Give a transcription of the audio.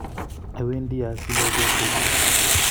Awendi asile beek che kie